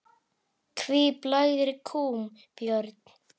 Hví blæðir kúm, Björn?